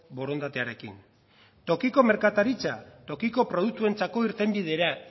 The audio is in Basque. borondatearekin tokiko merkataritza tokiko produktuentzako irtenbidea